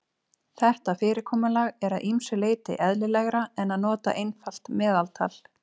Þetta fyrirkomulag er að ýmsu leyti eðlilegra en að nota einfalt meðaltal.